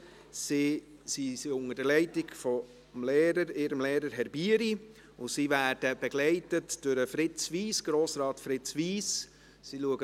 Sie stehen unter der Leitung ihres Lehrers, Herr Bieri, und werden von Grossrat Fritz Wyss begleitet.